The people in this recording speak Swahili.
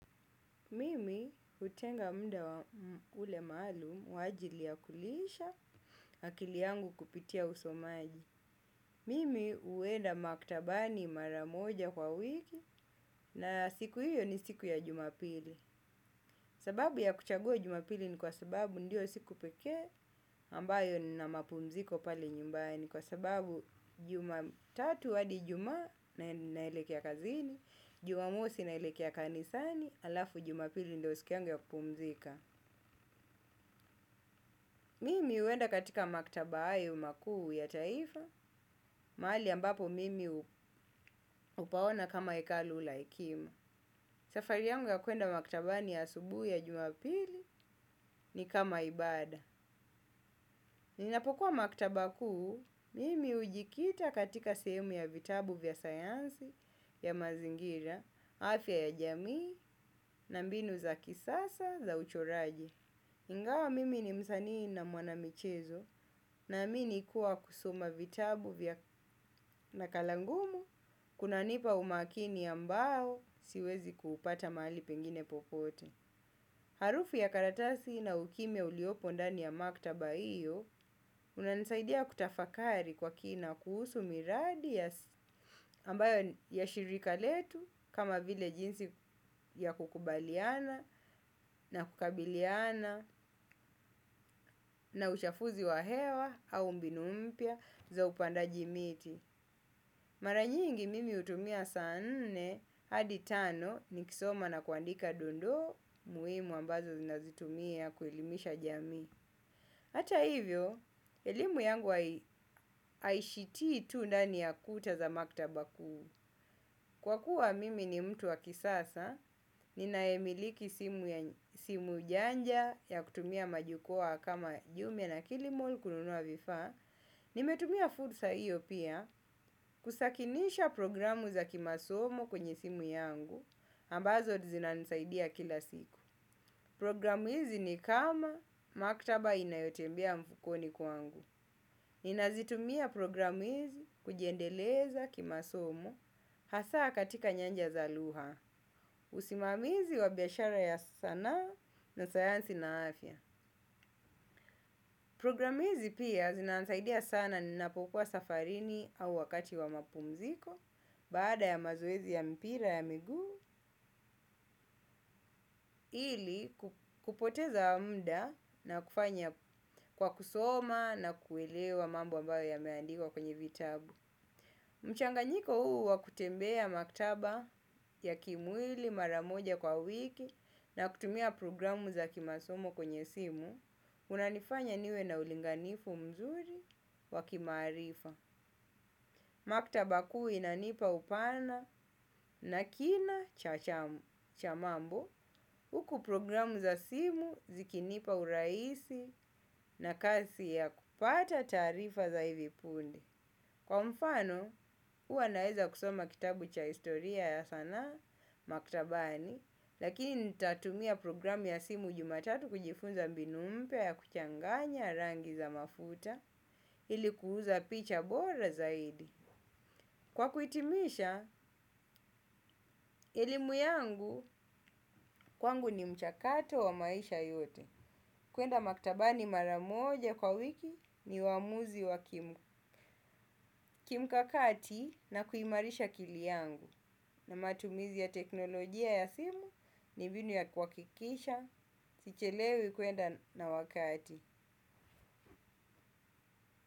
Mimi hutenga muda ule maalum kwa ajili ya kulisha akili yangu kupitia usomaji. Mimi huenda maktabani mara moja kwa wiki na siku hiyo ni siku ya jumapili. Sababu ya kuchagua ijumapili ni kwa sababu ndiyo siku pekee ambayo nina mapumziko pale nyumbani. Kwa sababu jumatatu hadi ijumaa naelekea kazini, jumamosi naelekea kanisani, alafu jumapili ndiyo siku yangu ya kupumzika. Mimi huenda katika maktaba hayo makuu ya taifa, mahali ambapo mimi hupaona kama hekalu la hekima. Safari yangu ya kwenda maktabani asubuhi ya juma pili ni kama ibada. Ninapokuwa maktaba kuu, mimi hujikita katika sehemu ya vitabu vya sayansi ya mazingira, afya ya jamii na mbinu za kisasa za uchoraji. Ingawa mimi ni msanii na mwana michezo ninaamini kuwa kusoma vitabu vya nakala ngumu kunanipa umakini ambao siwezi kuupata mahali pengine popote. Harufu ya karatasi na ukimya uliopo ndani ya maktaba hiyo hunanisaidia kutafakari kwa kina kuhusu miradi ya ambayo ya shirika letu kama vile jinsi ya kukubaliana na kukabiliana na ushafuzi wa hewa au mbinu mpya za upandaji miti. Mara nyingi mimi hutumia saa nne hadi tano nikisoma na kuandika dondoo muhimu ambazo zinazitumia kuelimisha jamii. Hata hivyo, elimu yangu haishitii tu ndani ya kuta za maktaba kuu. Kwa kuwa mimi ni mtu wa kisasa, ninayemiliki simu janja ya kutumia majukoa kama jumia na kilimol kununua vifaa. Nimetumia fursa hiyo pia kusakinisha programu za kimasomo kwenye simu yangu ambazo zinanisaidia kila siku. Programu hizi ni kama maktaba inayotembea mfukoni kwangu. Ninazitumia program hizi kujiendeleza kimasomo, hasa katika nyanja za lugha, usimamizi wa biashara ya sanaa na sayansi na afya. Program hizi pia zinanisaidia sana ninapokuwa safarini au wakati wa mapumziko, bada ya mazoezi ya mpira ya miguu, ili kupoteza mda na kufanya kwa kusoma na kuelewa mambo ambayo yameandikwa kwenye vitabu. Mchanganyiko huu wa kutembea maktaba ya kimwili mara moja kwa wiki na kutumia programu za kimasomo kwenye simu unanifanya niwe na ulinganifu mzuri wa kimaarifa. Maktaba kuu inanipa upana na kina cha mambo huku programu za simu zikinipa urahisi na kazi ya kupata taarifa za hivi pundi. Kwa mfano huwa naeza kusoma kitabu cha historia ya sanaa maktabani lakini nitatumia programu ya simu jumatatu kujifunza mbinu mpya ya kuchanganya rangi za mafuta ili kuuza picha bora zaidi. Kwa kuitimisha, elimu yangu kwangu ni mchakato wa maisha yote. Kwenda maktabani mara moja kwa wiki ni uamuzi wa kimu. Kimkakati na kuimarisha akili yangu. Na matumizi ya teknolojia ya simu ni mbinu ya kuhakikisha. Sichelewi kwenda na wakati.